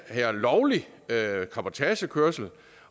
er lovlig cabotagekørsel